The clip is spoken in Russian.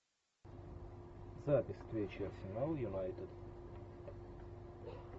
запись встречи арсенал юнайтед